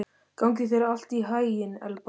Gangi þér allt í haginn, Elba.